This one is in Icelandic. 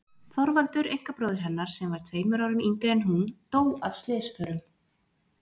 Þorvaldur einkabróðir hennar, sem var tveimur árum yngri en hún, dó af slysförum.